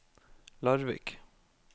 Larvik